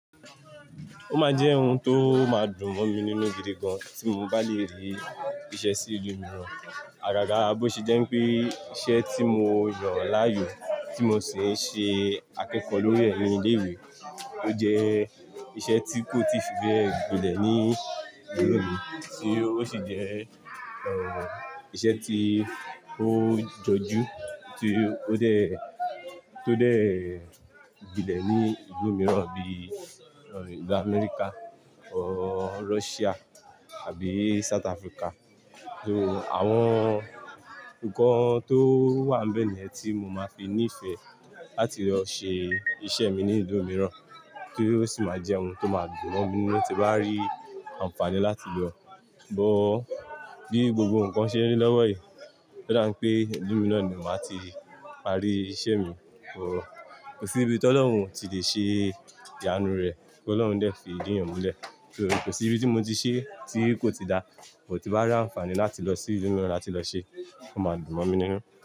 Ó máa jẹ́ ohun tó máa dùn mọ́ mi nínú gidi gan tí mo bá lè rí iṣẹ́ sí ìlú mìíràn. Àgàgà bó ṣe jẹ́ pé iṣẹ́ tí mo yàn láàyò tí mo sì ń ṣe akẹ́kọ̀ọ́ lórí rẹ̀ ní ilé ìwé, ó jẹ́ iṣẹ́ tí kò tíì fibe gbilẹ̀ ní ìlú mi tí ó sì jẹ́ iṣẹ́ tí ó jọjú tí ó dẹ̀, tó dẹ̀ gbilẹ̀ ní ìlú mìíràn bíi ìlú Amẹ́ríkà, Russia àbí South Africa. Tí àwọn ǹkan tó wà níbẹ̀ ni yẹ́n tí mo máa fi nífẹ̀ ẹ́ láti lọ ṣe iṣẹ́ mi ní ìlú mìíràn, tí ó sì máa jẹ́ ohun tó máa dùn mọ́ mi nínú tí bá rí àǹfààní láti lọ. Bo bí gbogbo ǹkan ṣe ń rí lọ́wọ́ yí, ó dá ń pé ìlú mi na ni màá ti parí iṣẹ́ mi. Kò sí ibi tí Ọlọ́run ò tí lè ṣe ìyanu rẹ̀, kí Ọlọ́run dẹ̀ fi ìdi yàn múlẹ̀. So kosí ibi tí mo ti ṣe tí kò ti dá, bó ti n bá rí àǹfààní láti lọ sí ìlú mìíràn láti lọ ṣe, ó máa dùn mọ́ mi nínú.